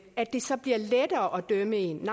at det så bliver lettere at dømme en